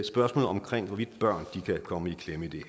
spørgsmålet om hvorvidt børn kan komme i klemme i det